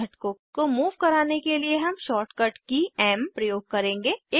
घटक को मूव कराने के लिए हम शॉर्टकट की एम प्रयोग करेंगे